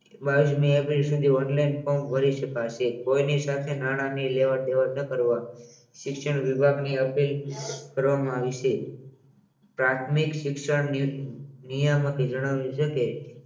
બાવિસમી April સુધી online form ભરી શકાશે કોઇની સાથે નાણાં નહીં કરો શિક્ષણ વિભાગની અપીલ કરવામાં આવી છે પ્રાથમિક શિક્ષણની નિયમન જણાવેલ છે કે